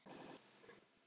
Sá sem sefar.